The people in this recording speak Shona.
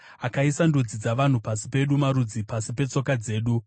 Akaisa ndudzi dzavanhu pasi pedu, marudzi pasi petsoka dzedu.